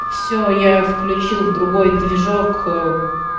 все я включил другой движок